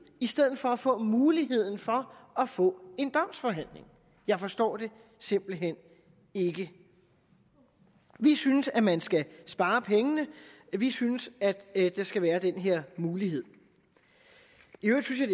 i stedet for at få muligheden for at få en domsforhandling jeg forstår det simpelt hen ikke vi synes at man skal spare pengene vi synes at der skal være den her mulighed